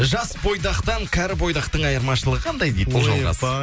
жас бойдақтан кәрі бойдақтың айырмашылығы қандай дейді ұлжалғас